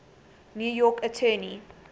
new york attorney